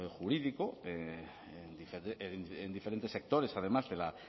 jurídico en diferentes sectores además de la